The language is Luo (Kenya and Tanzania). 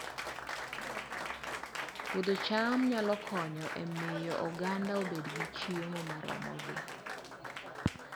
Puodho cham nyalo konyo e miyo oganda obed gi chiemo moromogi